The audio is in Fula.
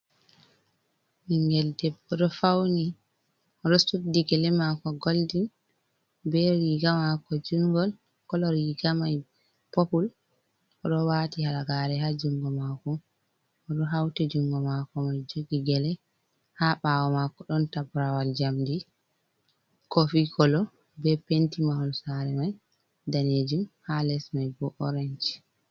Ɓingel debbo ɗo fauni suɗɗi gele mako golden be riga mako jungol kolor riga mai popul oɗo wati halagare ha jungo mako oɗo hauti jungo mako mai jogi gele ha bawo mako ɗon tabrawal jamdi kofi kolo be penti mahol saare mai danejum ha les mai bo orange.